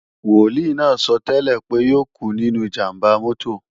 Wòlíì náà sọ́tẹ́lẹ̀ pé yóò kú nínú ìjàmbá mọ́tò